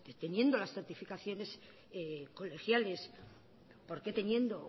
teniendo las certificaciones colegiales por qué teniendo